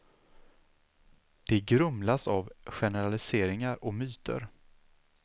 De grumlas av generaliseringar och myter.